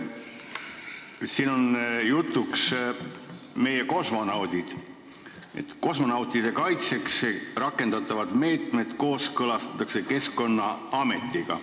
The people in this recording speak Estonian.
Siin on juttu ka kosmonautidest: kosmonautide kaitseks rakendatavad meetmed kooskõlastatakse Keskkonnaametiga.